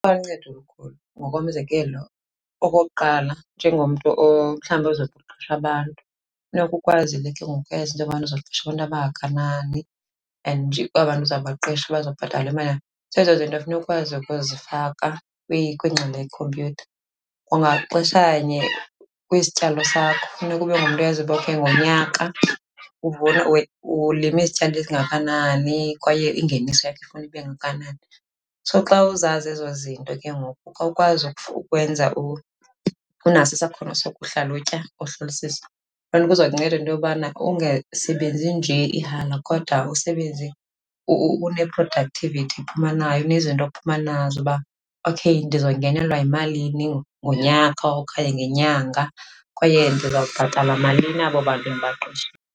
Ingaluncedo olukhulu. Ngokomzekelo, okokuqala, njengomntu mhlawumbi ozokuqesha abantu funeka ukwazile ke ngoku uyazi into yobana uzoqesha abantu abangakanani and aba 'ntu uzawubaqeshwa bazawubhatalwa imali. Zezo zinto funeka ukwazi ukuzifaka kwingxelo yekhompyutha. Kwangaxeshanye, kwisityalo sakho funeka ube ngumntu oyaziyo okay ngonyaka ulima isityalo esingakanani kwaye ingeniso yakho ufuna ibe ngakanani. So xa uzazi ezo zinto ke ngoku, xa ukwazi ukwenza , unaso isakhono sokuhlalutya, uhlolisise, loo nto iza kunceda into yobana ungasebenzi nje ihala kodwa usebenze une-productivity ophuma nayo, unezinto ophuma nazo. Uba okay ndizongenaelwa yimalini ngonyaka okanye ngenyanga kwaye ndiza kubhatala malini abo bantu ndibaqeshile.